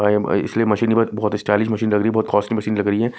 इसलिए मशीन बहुत stylish machine लग रही है बहुत कॉस्टली मशीन लग रही है।